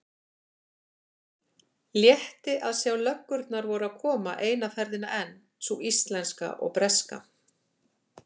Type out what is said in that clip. Létti að sjá að löggurnar voru að koma eina ferðina enn, sú íslenska og breska.